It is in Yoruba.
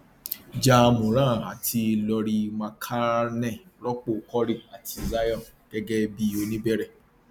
ja morant àti lauri markkanen rọpò curry àti zion gẹgẹ bí oníbẹrẹ